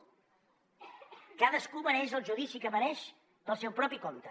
cadascú mereix el judici que mereix pel seu propi compte